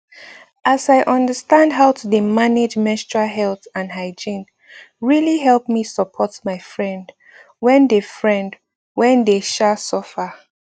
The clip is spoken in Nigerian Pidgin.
as i understand how to dey manage menstrual health and hygiene really help me support my friend wen dey friend wen dey um suffer